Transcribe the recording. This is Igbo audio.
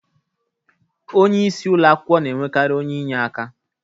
Onye isi ụlọakwụkwọ n'enwekari onye inyeaka.